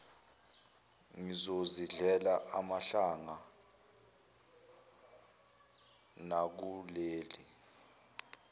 ngizozidlela amahlanga nakuleli